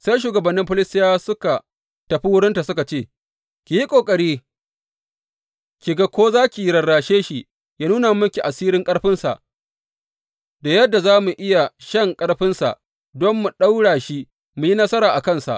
Sai shugabannin Filistiyawa suka tafi wurinta suka ce, Ki yi ƙoƙari ki ga ko za ki rarrashe shi yă nuna miki asirin ƙarfinsa da yadda za mu iya shan ƙarfinsa don mu ɗaura shi mu yi nasara a kansa.